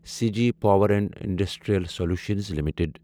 CG power and industrial solutions limited